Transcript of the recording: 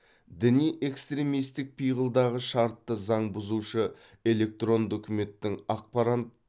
діни экстремистік пиғылдағы шартты заң бұзушы электронды үкіметтің ақпарант